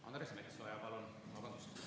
Vabandust!